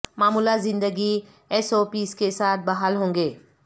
معمولات زندگی S O Ps کے ساتھ بحال ہوں گے